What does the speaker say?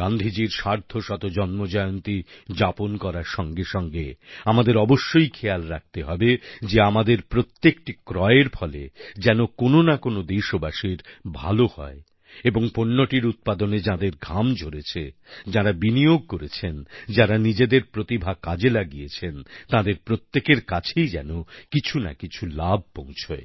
গান্ধীজীর সার্ধশত জন্মজয়ন্তী যাপন করার সঙ্গে সঙ্গে আমাদের অবশ্যই খেয়াল রাখতে হবে যে আমাদের প্রত্যেকটি ক্রয়ের ফলে যেন কোনও না কোনও দেশবাসীর ভালো হয় এবং পণ্যটির উৎপাদনে যাঁদের ঘাম ঝরেছে যাঁরা বিনিয়োগ করেছেন যাঁরা নিজেদের প্রতিভা কাজে লাগিয়েছেন তাঁদের প্রত্যেকের কাছেই যেন কিছু না কিছু লাভ পৌঁছয়